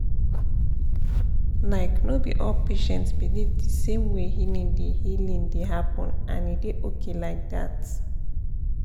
like no be all patients believe the same way healing dey healing dey happen — and e dey okay like that.